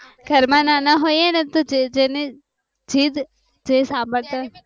ધર માં નાના હોય છે જેને જીદ જે સાંભળતા હોય